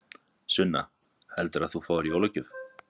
Sunna: Hvað heldurðu að þú fáir í jólagjöf?